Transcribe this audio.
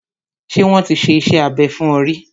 Ṣé wọ́n ti ṣe iṣẹ́ abẹ fún ọ ríí?